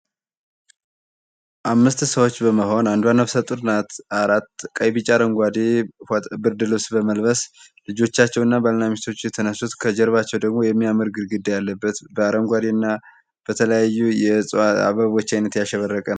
አምስት ሰዎች በመሆን አንዷ ነፍሰጡር ናት አራት ቀይ ቢጫ አረንጓዴ ብርድ ልብስ በመልበስ ልጆቻቸው እና ባልና ሚስቶች የተነሱት ከጀርባቸው ደግሞ የሚያምር ግድግዳ ያለበት እና በተለያዩ የእጽዋት አበቦች አይነት ያሸበረቀ ነው ።